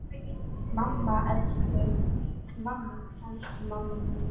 Mamma, elsku mamma mín.